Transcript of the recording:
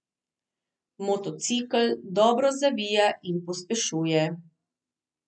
Motocikel dobro zavija in pospešuje.